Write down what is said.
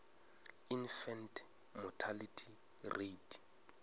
infant mortality rate